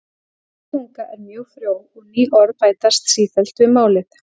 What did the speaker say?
íslensk tunga er mjög frjó og ný orð bætast sífellt við málið